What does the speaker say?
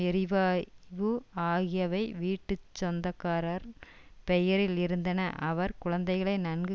எரிவாயு ஆகியவை வீட்டு சொந்தக்காரர் பெயரில் இருந்தனஅவர் குழந்தைகளை நன்கு